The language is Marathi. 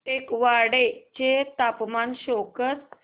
टेकवाडे चे तापमान शो कर